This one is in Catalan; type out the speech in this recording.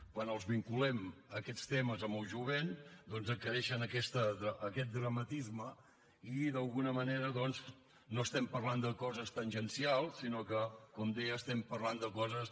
quan els vinculem aquests temes amb el jovent doncs adquireixen aquest dramatisme i d’alguna manera doncs no estem parlant de coses tangencials sinó que com deia estem parlant de coses